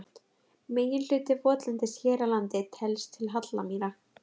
Meginhluti votlendis hér á landi telst til hallamýra.